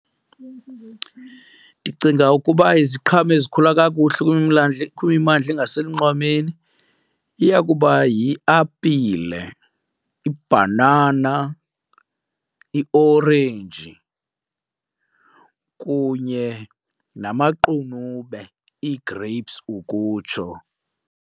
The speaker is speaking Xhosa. Ndicinga ukuba iziqhamo ezikhula kakuhle kwimimandla engaselunxwemeni iya kuba yiapile, ibhanana, iiorenji kunye namaqunube, ii-grapes ukutsho.